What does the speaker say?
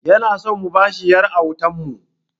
Yana so mu ba shi ƴar autan mu